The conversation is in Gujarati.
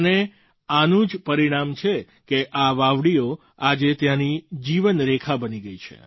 અને આનું જ પરિણામ છે કે આ વાવડીઓ આજે ત્યાંની જીવનરેખા બની ગઈ છે